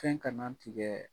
Fɛn kana tigɛɛ